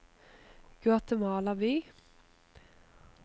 Guatemala by